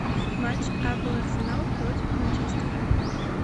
матч апл арсенал против манчестера